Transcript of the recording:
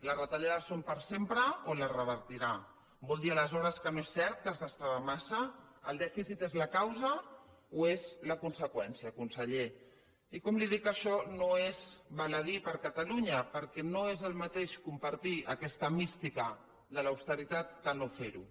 les retallades són per sempre o les revertirà vol dir aleshores que no és cert que es gastava massa el dèficit és la causa o és la conseqüència conseller i com li dic això no és baladí per a catalunya perquè no és el mateix compartir aquesta mística de l’austeritat que no fer ho